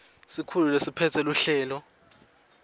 sikhulu lesiphetse luhlelo